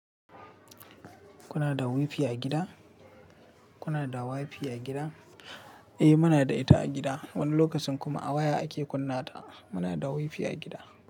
Kuna da wifi a gida? Kuna da wifi a gida? Eh muna da ita a gida, wani lokacin kuma a waya ake kunna ta. Muna da wifi a gida.